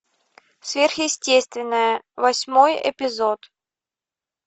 сверхъестественное восьмой эпизод